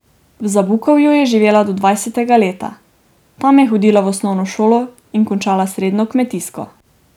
V Zabukovju je živela do dvajsetega leta, tam je hodila v osnovno šolo in končala srednjo kmetijsko.